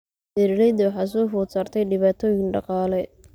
Beeralayda waxaa soo food saartay dhibaatooyin dhaqaale.